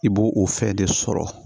I b'o o fɛn de sɔrɔ